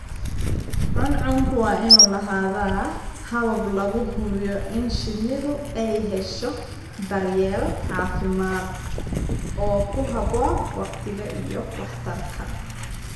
Cuncunku waa inuu lahaadaa habab lagu hubiyo in shinnidu ay hesho daryeel caafimaad oo ku habboon waqtiga iyo waxtarka.